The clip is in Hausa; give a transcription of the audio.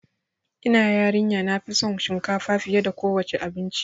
Ina yarin ya nafi son shinkafa fiye da kowa ce abinci